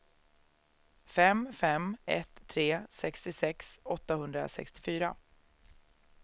fem fem ett tre sextiosex åttahundrasextiofyra